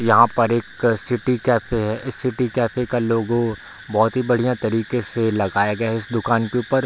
यहाँ पर एक सिटी कैफ़े है इस सिटी कैफ़े का लोगो बहोत ही बढ़िया तरीके से लगया गया है इस दुकान के ऊपर।